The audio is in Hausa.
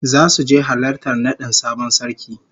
Zasu je halartar nadin sabon sarki